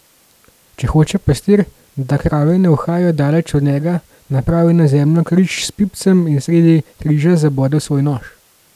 Če hoče pastir, da krave ne uhajajo daleč od njega, napravi na zemljo križ s pipcem in sredi križa zabode svoj nož.